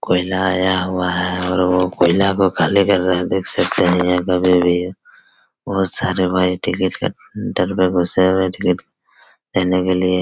कोयला आया हुआ है और वो कोयला को खाली कर रहे है देख सकते है यहाँ अभी भी है यह कभी भी बहुत सारे टिकिट काउंटर मे घुसे हुए हैं देने के लिए--